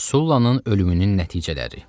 Sullannın ölümünün nəticələri.